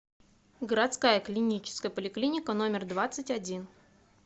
городская клиническая поликлиника номер двадцать один